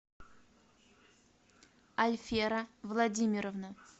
альфера владимировна